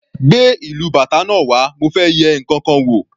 Gbé ìlú bàtá náà wá mo fẹ́ yẹ ǹkankan wò.